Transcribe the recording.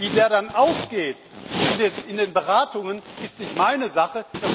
Wie der dann ausgeht in den Beratungen, ist nicht meine Sache.